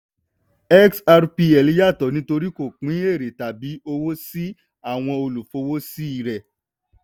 xrpl yàtọ̀ nítorí kò pín èrè tàbí owó sí àwọn olùfọwọ́sí rẹ.